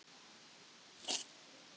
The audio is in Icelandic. Silla, slökktu á þessu eftir sjötíu mínútur.